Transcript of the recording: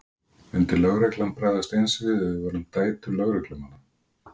Myndi lögreglan bregðast eins við ef við værum dætur lögreglumanna?